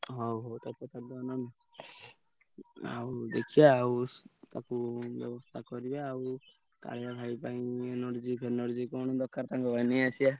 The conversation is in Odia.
ହଉ ଆଉ ଦେଖିଆ ଆଉ ତାକୁ ଆ କରିଆ ଆଉ। ଭାଇ ପାଇଁ energy ଫେନର୍ଜୀ କଣ ଦରକାର ତମର ନେଇ ଆସିଆ।